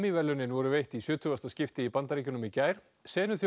verðlaunin voru veitt í sjötugasta skipti í Bandaríkjunum í gær